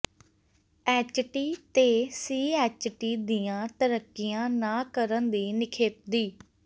HT ਤੇ CHT ਦੀਆਂ ਤਰੱਕੀਆਂ ਨਾ ਕਰਨ ਦੀ ਨਿਖੇਧੀ